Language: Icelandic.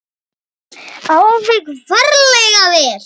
Alveg ferlega vel.